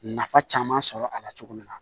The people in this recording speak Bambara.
Nafa caman sɔrɔ a la cogo min na